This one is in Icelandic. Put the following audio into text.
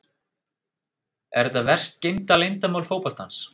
Er þetta verst geymda leyndarmál fótboltans?